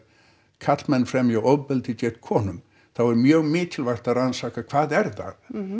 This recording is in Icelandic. karlmenn fremji ofbeldi gegn konum þá er mjög mikilvægt að rannsaka hvað er það